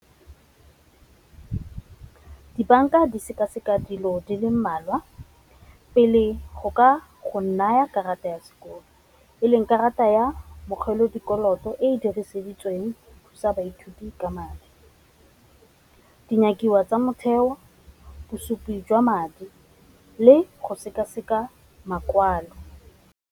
Dibanka di seka-seka dilo di le mmalwa pele go ka go naya karata ya sekolo, e leng karata ya dikoloto e dirisitsweng go thusa baithuti ka madi. Dinyakiwa tsa motheo bosupi jwa madi le go seka-seka makwalo.